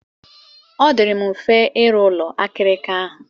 Ọ dịịrị m mfe ịrụ ụlọ akirika ahụ.